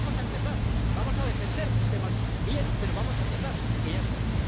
Vamos a empezar, vamos a defender los temas bien, pero vamos a empezar, que ya es hora.